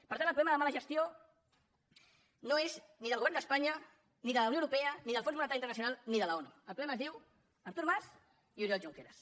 per tant el problema de mala gestió no és ni del govern d’espanya ni de la unió europea ni del fons monetari internacional ni de l’onu el problema es diu artur mas i oriol junqueras